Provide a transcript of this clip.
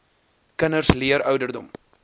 kinders leer ouderdom